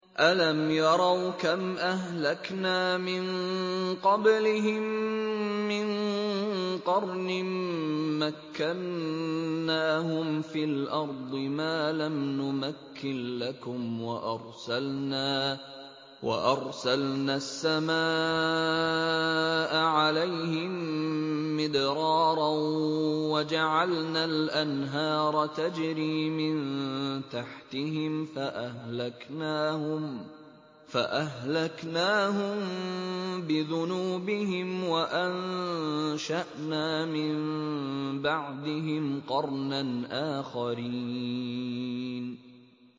أَلَمْ يَرَوْا كَمْ أَهْلَكْنَا مِن قَبْلِهِم مِّن قَرْنٍ مَّكَّنَّاهُمْ فِي الْأَرْضِ مَا لَمْ نُمَكِّن لَّكُمْ وَأَرْسَلْنَا السَّمَاءَ عَلَيْهِم مِّدْرَارًا وَجَعَلْنَا الْأَنْهَارَ تَجْرِي مِن تَحْتِهِمْ فَأَهْلَكْنَاهُم بِذُنُوبِهِمْ وَأَنشَأْنَا مِن بَعْدِهِمْ قَرْنًا آخَرِينَ